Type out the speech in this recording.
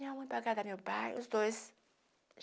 Minha mãe pagava meu pai, os dois.